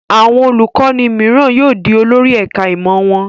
Àwọn olùkọ́ní mìíràn yóò di olórí ẹ̀ka-ìmọ̀ wọn.